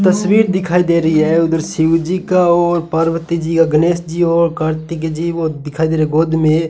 तस्वीर दिखाई दे रही है उधर शिवजी का और पार्वती जी का गणेश जी और कार्तिक जी वो दिखाई दे रहे गोद में --